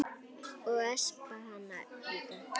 Ég espa hana líka.